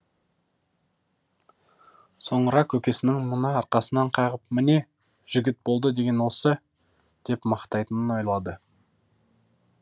соңыра көкесінің мұны арқасынан қағып міне жігіт болды деген осы деп мақтайтынын ойлады